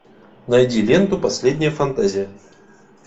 найди ленту последняя фантазия